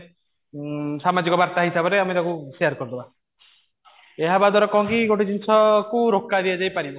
ସାମାଜିକ ବାର୍ତ୍ତା ହିସାବରେ ଆମେ ତାକୁ share କରିଦେବା ଏହା ହେବା ଦ୍ୱାରା କଣ କି ଗୋଟେ ଜିନିଷ କୁ ରୋକା ଯାଇ ପାରିବ